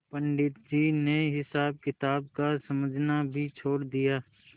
पंडित जी ने हिसाबकिताब का समझना भी छोड़ दिया